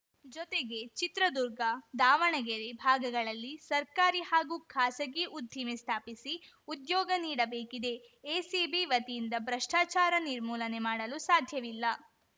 ಜೊತೆಗೆ ಚಿತ್ರದುರ್ಗ ದಾವಣಗೆರೆ ಭಾಗಗಳಲ್ಲಿ ಸರ್ಕಾರಿ ಹಾಗೂ ಖಾಸಗಿ ಉದ್ದಿಮೆ ಸ್ಥಾಪಿಸಿ ಉದ್ಯೋಗ ನೀಡಬೇಕಿದೆ ಎಸಿಬಿ ವತಿಯಿಂದ ಭ್ರಷ್ಟಾಚಾರ ನಿರ್ಮೂಲನೆ ಮಾಡಲು ಸಾಧ್ಯವಿಲ್ಲ